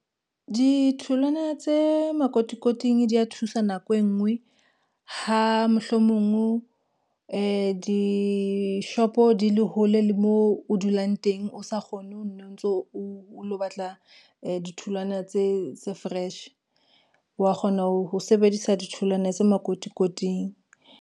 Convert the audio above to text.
Ditholwana tse makotikoting di a thusa nako e ngwe, ha mohlomong dishopo di le hole le moo o dulang teng, o sa kgone ho no ntso o lo batla ditholwana tse fresh wa kgona ho sebedisa ditholwana tse makotikoting.